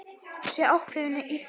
Sé ákveðin í því.